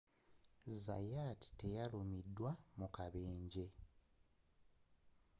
zayat teyalumiziddwa mu kabenje